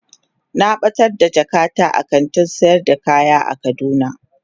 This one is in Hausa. Na batar da jakata a kantin sayar da kaya a kaduna.